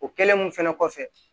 O kɛlen mun fɛnɛ kɔfɛ